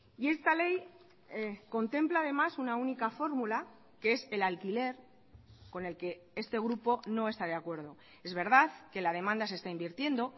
y esta ley contempla además una única fórmula que es el alquiler con el que este grupo no está de acuerdo es verdad que la demanda se está invirtiendo